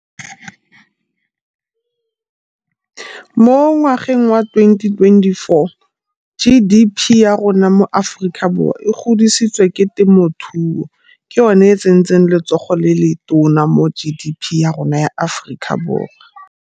Mo ngwageng wa twenty twenty-four G_D_P ya rona mo Aforika Borwa e godisitse ke temothuo, ke yone e tsentseng letsogo le le tona mo G_D_P ya rona ya Aforika Borwa.